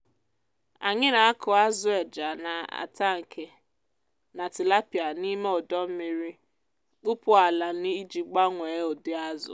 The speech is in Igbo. anyị na-akụ azụ eja n’atankị na tilapia n’ime ọdọ mmiri kpụpụ n’ala iji gbanwee ụdị azụ.